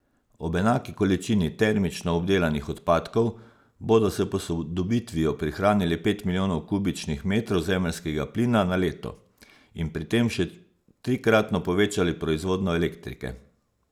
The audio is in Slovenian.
Ob enaki količini termično obdelanih odpadkov bodo s posodobitvijo prihranili pet milijonov kubičnih metrov zemeljskega plina na leto in pri tem še trikratno povečali proizvodnjo elektrike.